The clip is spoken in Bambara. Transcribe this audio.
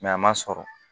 a ma sɔrɔ